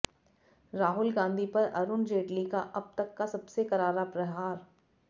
राहुल गांधी पर अरुण जेटली का अब तक का सबसे करारा प्रहार